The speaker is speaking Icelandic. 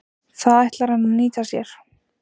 Það ætlar hann að nýta sér.